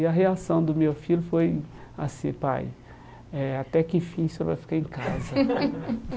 E a reação do meu filho foi assim, pai, eh até que enfim você vai ficar em casa.